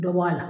Dɔ bɔ a la